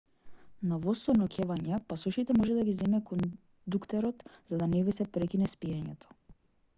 на воз со ноќевање пасошите може да ги земе кондуктерот за да не ви се прекине спиењето